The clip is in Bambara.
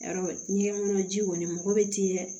Yarɔ ni ye kɔnɔ ji kɔni mɔgɔ bɛ ti yɛ